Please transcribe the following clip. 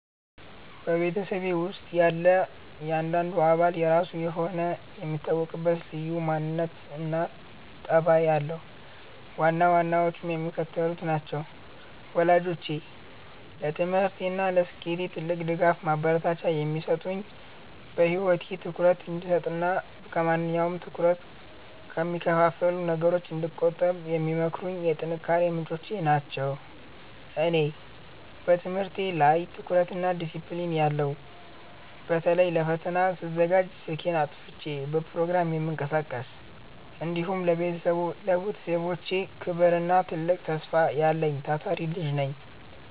በቤተሰቤ ውስጥ ያለ እያንዳንዱ አባል የራሱ የሆነ የሚታወቅበት ልዩ ማንነትና ጠባይ አለው፤ ዋና ዋናዎቹም የሚከተሉት ናቸው፦ ወላጆቼ፦ ለትምህርቴና ለስኬቴ ትልቅ ድጋፍና ማበረታቻ የሚሰጡኝ፣ በህይወቴ ትኩረት እንድሰጥና ከማንኛውም ትኩረት ከሚከፋፍሉ ነገሮች እንድቆጠብ የሚመክሩኝ የጥንካሬዬ ምንጮች ናቸው። እኔ፦ በትምህርቴ ላይ ጠንካራና ዲሲፕሊን ያለው (በተለይ ለፈተና ስዘጋጅ ስልኬን አጥፍቼ በፕሮግራም የምቀሳቀስ)፣ እንዲሁም ለቤተሰቤ ክብርና ትልቅ ተስፋ ያለኝ ታታሪ ልጅ ነኝ።